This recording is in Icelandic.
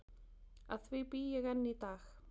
Að því bý ég enn í dag.